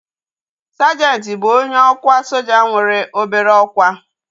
Sajenti bụ onye ọkwa soja nwere obere ọkwá